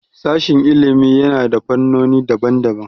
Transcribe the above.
Sashin ilimi yana da fannoni daban daban